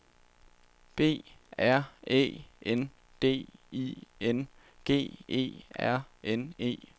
B R Æ N D I N G E R N E